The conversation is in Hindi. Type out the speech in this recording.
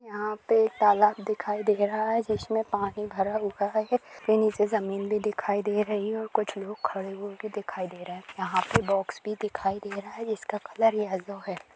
यहाँ पे एक तालाब दिखाई दे रहा है जिसमें पानी भरा हुआ है और नीचे जमीन भी दिखाई दे रही है और कुछ लोग खड़े हुए भी दिखाई दे रहे हैं| यहाँ पे बॉक्स भी दिखाई दे रहा है जिसका कलर येलो है ।